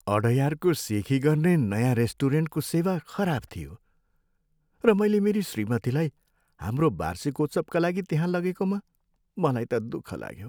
अडयारको सेखी गर्ने नयाँ रेस्टुरेन्टको सेवा खराब थियो र मैले मेरी श्रीमतीलाई हाम्रो वार्षिकोत्सवका लागि त्यहाँ लगेकोमा मलाई त दुःख लाग्यो।